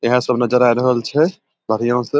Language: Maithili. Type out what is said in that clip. यहे सब नजर आय रहल छै बढ़ियां से।